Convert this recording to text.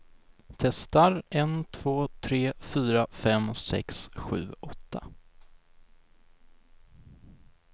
Testar en två tre fyra fem sex sju åtta.